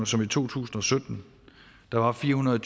som i to tusind og sytten der var fire hundrede og